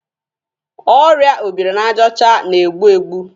Ọrịa obirinajaọcha na-egbu egbu.